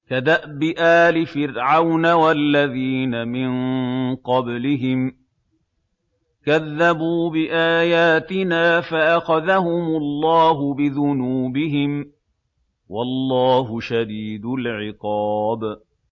كَدَأْبِ آلِ فِرْعَوْنَ وَالَّذِينَ مِن قَبْلِهِمْ ۚ كَذَّبُوا بِآيَاتِنَا فَأَخَذَهُمُ اللَّهُ بِذُنُوبِهِمْ ۗ وَاللَّهُ شَدِيدُ الْعِقَابِ